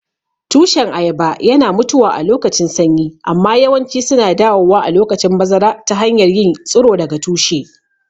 Tushen ayaba yana mutuwa alokacin sanyi amma yawanci suna dawowa a lokacin bazara ta hanyar yin tsiro daga tushe.